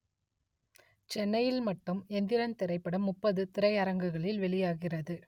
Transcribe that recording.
சென்னையில் மட்டும் எந்திரன் திரைப்படம் முப்பது திரையரங்குகளில் வெளியாகிறது